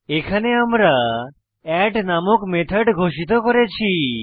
এখানে আমরা এড নামক মেথড ঘোষিত করেছি